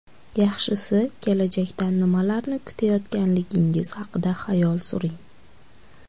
Yaxshisi kelajakdan nimalarni kutayotganligingiz haqida xayol suring.